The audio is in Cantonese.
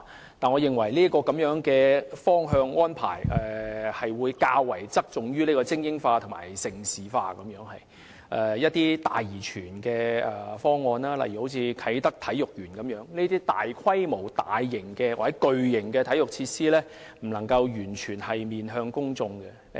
然而，我認為這方向或安排會較側重於精英化及盛事化，以致一些"大而全"的方案，例如啟德體育園一類的大規模、大型或巨型體育設施，不能夠完全面向公眾。